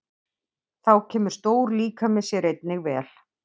Þá kemur stór líkami sér einnig vel.